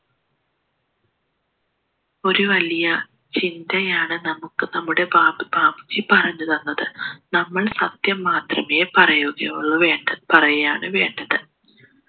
ഒരു വലിയ ചിന്തയാണ് നമ്മുക്ക് നമ്മുടെ ബാപ്പ് ബാപ്പുജി പറഞ്ഞ് തന്നത് നമ്മൾ സത്യം മാത്രമേ പറയുകയുള്ളു വേണ്ട പറയാണു വേണ്ടത്